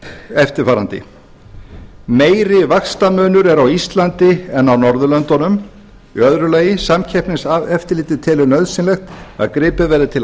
eftirfarandi meiri vaxtamunur er á íslandi en á norðurlöndunum annars samkeppniseftirlitið telur nauðsynlegt að gripið verði til